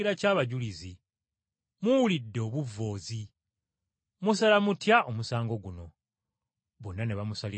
Muwulidde obuvvoozi. Musala mutya omusango guno?” Bonna ne bamusalira gwa kufa.